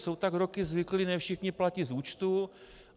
Jsou tak roky zvyklí, ne všichni platí z účtů.